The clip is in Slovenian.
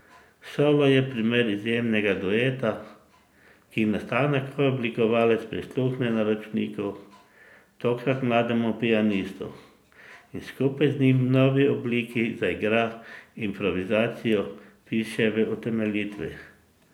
Solo je primer izjemnega dueta, ki nastane, ko oblikovalec prisluhne naročniku, tokrat mlademu pianistu, in skupaj z njim v novi obliki zaigra improvizacijo, piše v utemeljitvi.